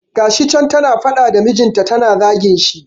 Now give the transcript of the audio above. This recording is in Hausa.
Ga shi can ta na faɗa da mijinta ta na zagin shi.